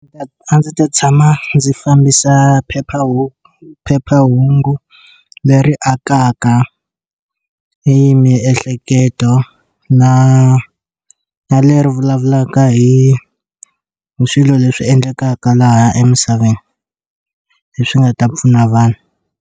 A ndzi ta tshama ndzi fambisa phephahungu phephahungu leri akaka hi miehleketo na na leri vulavulaka hi swilo leswi endlekaka laha emisaveni leswi nga ta pfuna vanhu.